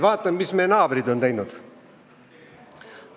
Vaatame, mis meie naabrid on teinud!